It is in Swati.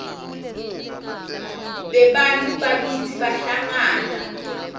bebantfu bakitsi bahlangana